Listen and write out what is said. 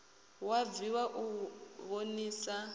hu a bviwa u vhonisa